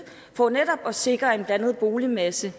for netop at sikre en blandet boligmasse